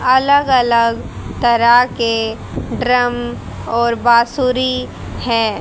अलग अलग तरह के ड्रम और बांसुरी है।